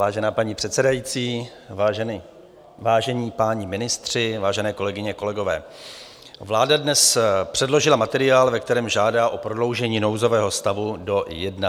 Vážená paní předsedající, vážení páni ministři, vážené kolegyně, kolegové, vláda dnes předložila materiál, ve kterém žádá o prodloužení nouzového stavu do 31. května.